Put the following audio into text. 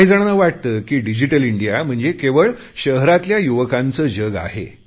काही जणांना वाटते की डिजिटल इंडिया म्हणजे केवळ शहरातल्या युवकांचे जग आहे